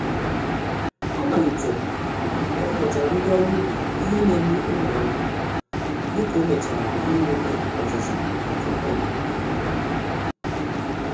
Ọ malitere ịrụpụtara ndị ọrụ ubi ihe N'egbu ụmụ ahụhụ, dịka omechara ihe omume ọzụzụ nka-oru-ubi.